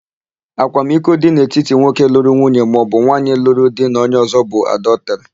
Akwamiko dị n'etiti nwoke lụrụ nwunye maọbụ nwaanyị luru di na onye ọ̀zọ́ bụ adọtịrị.